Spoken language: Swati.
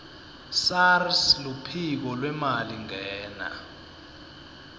sars luphiko lwemalingena